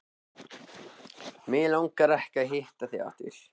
Mig langar ekki að hitta þig aftur.